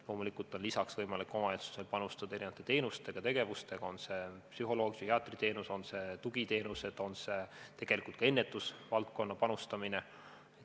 Loomulikult on lisaks võimalik omavalitsusel panustada erinevate teenuste ja tegevustega, on see siis psühholoogi- või psühhiaatriteenus, on need tugiteenused või on see ka ennetusvaldkonda panustamine.